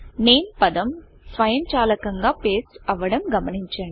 NAMEనేమ్ పదం స్వయంచాలకంగా పేస్ట్ అవ్వడం గమనించండి